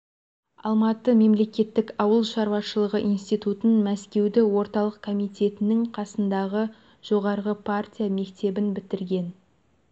алматы мемлекеттік ауыл шаруашылығы институтын мәскеуді орталық комитетінің қасындағы жоғарғы партия мектебін бітірген